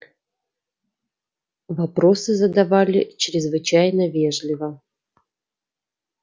вопросы задавали чрезвычайно вежливо